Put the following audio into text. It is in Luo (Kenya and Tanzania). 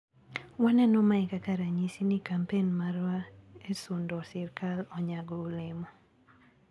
Waneno mae kaka ranyisi ni kampen marwa e sundo sirkal onyago olemo.